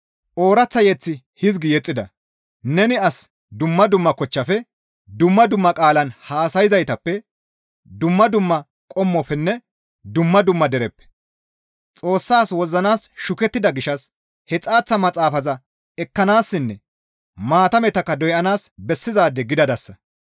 Ooraththa mazamure hizgi yexxida; «Neni as dumma dumma kochchafe, dumma dumma qaalan haasayzaytappe, dumma dumma qommofenne dumma dumma dereppe Xoossas wozzanaas shukettida gishshas he xaaththa maxaafaza ekkanaassinne maatametakka doyanaas bessizaade gidadasa.